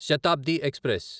Shatabdi express